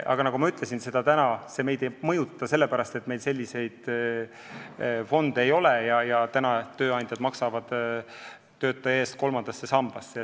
Aga nagu ma ütlesin, täna see meid ei mõjuta, sest meil selliseid fonde ei ole ja tööandjad maksavad töötaja eest kolmandasse sambasse.